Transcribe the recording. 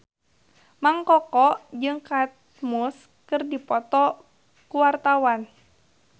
Mang Koko jeung Kate Moss keur dipoto ku wartawan